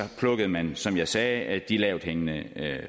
plukkede man som jeg sagde de lavthængende